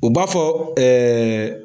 o b'a fɔ ɛɛ